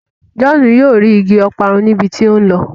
John yóò rí ìgi Ọparun ní ibí tí o nlọ.